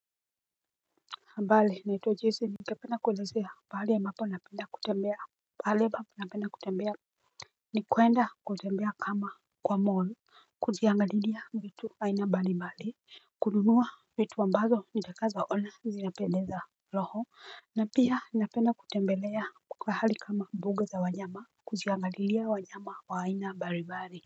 Mbali naitwa Jason Ningependa kuelezea mahali ambapo napenda kutembea Baleba napenda kutembea Nikwenda kutembea kama kwa mall Kujiangalilia vitu aina mbalimbali. Kununua vitu ambazo nitakazoona zinapendeza roho na pia ninapenda kutembelea pahali kama mbuga za wanyama. Kujiangalilia wanyama wa aina mbalimbali.